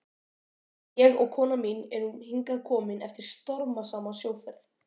Ég og kona mín erum hingað komin eftir stormasama sjóferð.